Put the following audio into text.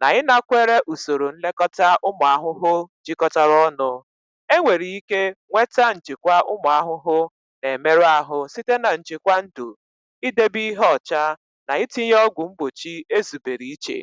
na ịnakwere usoro nlekọta ụmụ ahụhụ jikọtara ọnụ. Enwere ike nweta njikwa ụmụ ahụhụ na-emerụ ahụ site na njikwa ndu, idebe ihe ọcha, na itinye ọgwụ mgbochi ezubere iche.